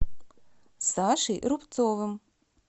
сашей рубцовым